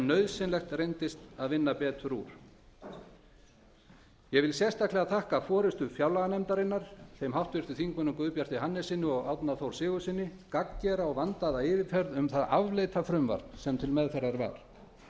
nauðsynlegt reyndist að vinna betur úr ég þakka sérstaklega forustu fjárlaganefndarinnar þeim háttvirtum þingmanni guðbjarti hannessyni og árna þór sigurðssyni gagngera og vandaða yfirferð yfir það afleita frumvarp sem til meðferðar var